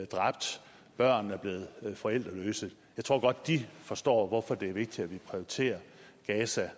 dræbt at børn er blevet forældreløse godt kan forstå hvorfor det er vigtigt at vi prioriterer gaza